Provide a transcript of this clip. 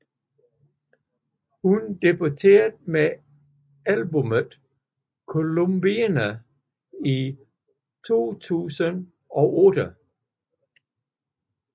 Hun debuterede med albummet Columbine i 2008